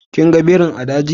Kin gan birin a daji?